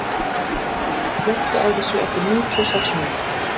Arinbjörg, slökktu á þessu eftir níutíu og sex mínútur.